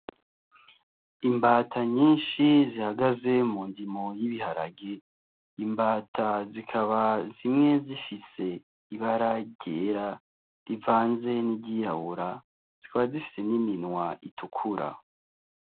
Imbata nyinshi zihagaze mu ndimo y’ibiharage ,imbata zikaba zimwe zifise ibara ryera rivanze n’iryirabura zikaba zifise n’iminwa itukura.